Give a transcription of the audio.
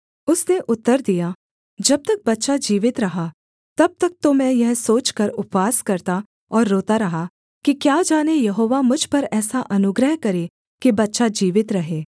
उसने उत्तर दिया जब तक बच्चा जीवित रहा तब तक तो मैं यह सोचकर उपवास करता और रोता रहा कि क्या जाने यहोवा मुझ पर ऐसा अनुग्रह करे कि बच्चा जीवित रहे